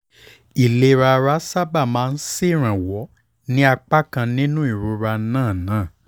ìlera ara sábà máa ń ṣèrànwọ́ ní apá kan nínú ìrora náà náà